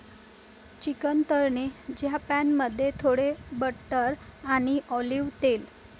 Chicken तळणे ज्या pan मध्ये, थोडे बटर आणि ऑलिव तेल.